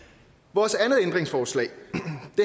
vores andet ændringsforslag